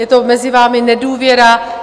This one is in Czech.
Je to mezi vámi nedůvěra.